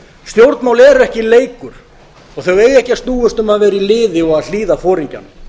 stjórnmál eru ekki leikur og þau eiga ekki að snúast um að vera í liði og að hlýða foringjanum